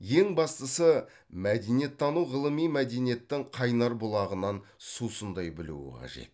ең бастысы мәдениеттану ғылыми мәдениеттің қайнар бұлағынан сусындай білуі қажет